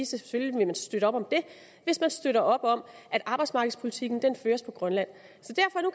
selvfølgelig vil man støtte op om det hvis man støtter op om at arbejdsmarkedspolitikken føres på grønland